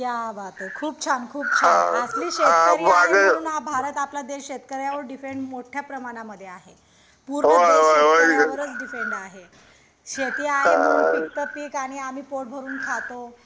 क्या बातए खूप छान खूप छान असली शेतकरी आहे म्हणून हा भारत आपला देश शेतकऱ्यावर डिपेंड मोठ्या प्रमाणामध्ये आहे पूर्ण देश शेतकऱ्यावरच डिपेंड आहे शेती आहे म्हणून पिकात पीक आणि आम्ही पोट भरून खातो